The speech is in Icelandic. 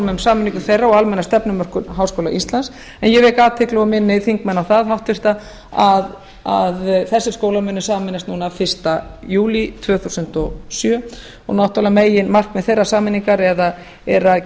um sameiningu þeirra og almenna stefnumörkun háskóla íslands en ég vek athygli og minni þingmenn á það háttvirtur að þessir skólar munu sameinast núna fyrsta júlí tvö þúsund og átta og náttúrlega meginmarkmið þeirrar sameiningar er að